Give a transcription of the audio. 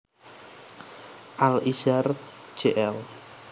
Al Izhar Jl